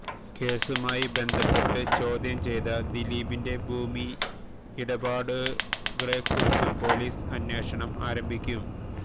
കേസുമായി ബന്ധപ്പെട്ട് ചോദ്യം ചെയ്ത ദിലീപിന്റെ ഭൂമിയടപാടുകളെക്കുറിച്ചും പൊലീസ് അന്വേഷണം ആരംഭിക്കും